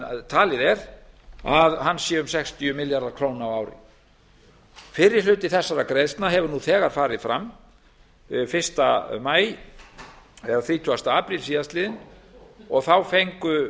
talið er að hann sé um sextíu milljarðar króna á ári fyrri hluti þessara greiðslna hefur nú þegar farið fram þrítugasta apríl síðastliðinn og þá fengu